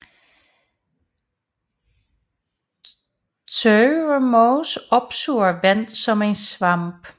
Tørvemos opsuger vand som en svamp